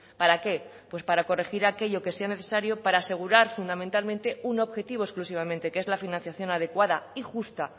para qué para corregir aquello que sea necesario para asegurar fundamentalmente un objetivo exclusivamente que es la financiación adecuada y justa